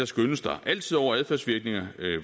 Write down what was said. skønnes der altid over adfærdsvirkninger